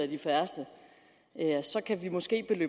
de færreste kan vi måske